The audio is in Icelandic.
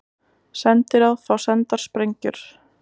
Sendiráð fá sendar sprengjur